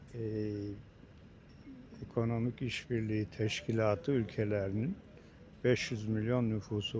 Eee, Ekonomik İşbirliyi Təşkilatı ölkələrinin 500 milyon nufusu var.